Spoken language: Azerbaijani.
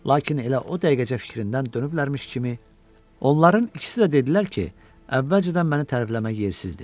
Lakin elə o dəqiqəcə fikrindən dönüblərmiş kimi onların ikisi də dedilər ki, əvvəlcədən məni tərifləmək yersizdir.